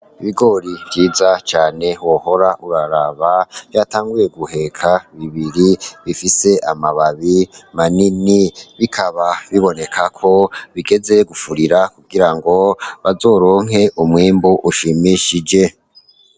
Ibigori vyiza cane wohora uraraba yatanguye guheka bibiri bifise amababi manini bikaba bibonekako bigeze gufurira kugira ngo bazoronke umwimbu ushimishije.